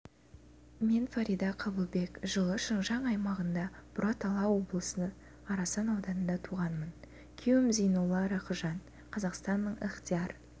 мен фарида қабылбек жылы шыңжаң аймағында бұратала облысы арасан ауданында туғанмын күйеуім зейнолла рақыжан қазақстанның ықтияр